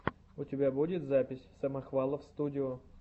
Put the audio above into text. у тебя будет запись самохвалов студио